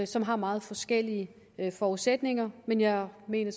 som har meget forskellige forudsætninger men jeg mener